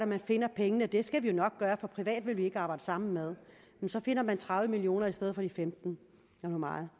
man finder pengene og det skal man jo nok gøre for private vil man ikke arbejde sammen med og så finder man tredive million kroner i stedet for de femten eller hvor meget